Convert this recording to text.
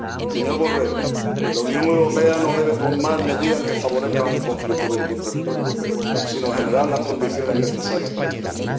Señor Borrell, la Unión Europea no debe tomar medidas que favorezcan un conflicto bélico en territorio europeo, sino generar las condiciones necesarias para evitarlo.